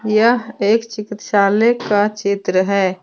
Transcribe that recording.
यह एक चिकित्सालय का चित्र है।